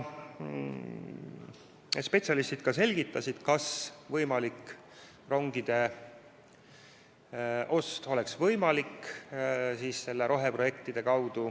Spetsialistid selgitasid, kas rongide ostuks oleks võimalik kasutada neid roheprojekte.